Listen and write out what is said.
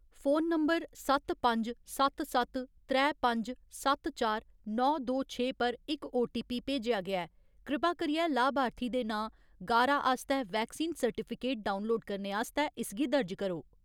Phone number सत्त पंज, सत्त सत्त, त्रै पंज, सत्त चार, नौ दो छे पर इक ओटीपी भेजेआ गेआ ऐ। कृपा करियै लाभार्थी दे नांऽ गारा आस्तै वैक्सीन सर्टिफिकेट डाउनलोड करने आस्तै इसगी दर्ज करो।